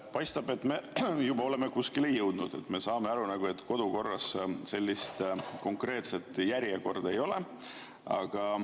Paistab, et me oleme juba kuskile jõudnud, kui me saame aru, et kodukorras sellist konkreetset järjekorda ei ole.